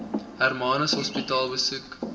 hermanus hospitaal besoek